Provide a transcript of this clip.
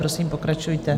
Prosím, pokračujte.